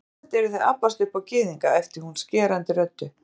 Einatt eruð þið að abbast upp á Gyðinga, æpti hún skerandi röddu